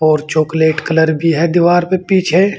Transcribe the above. और chocolate colour भी है दीवार पे पीछे।